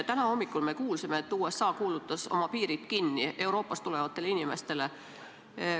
Täna hommikul me kuulsime, et USA sulges oma piirid Euroopast tulevatele inimestele.